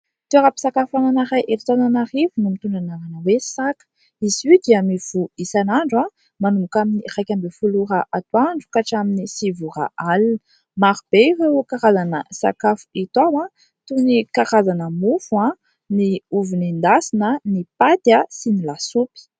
Toeram-piasakafoanana iray eto Antananarivo no mitondra ny anarana hoe "Saka". Izy io dia mivoha isanandro manomboka amin'ny iraika ambin'ny folo ora atoandro ka hatramin'ny sivy ora alina. Maro be ireo karazana sakafo hita ao toy ny karazana mofo, ny ovy nendasina, ny paty sy ny lasopy.